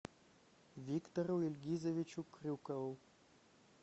виктору ильгизовичу крюкову